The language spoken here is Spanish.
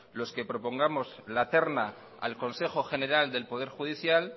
los que propongamos la terna al consejo general del poder judicial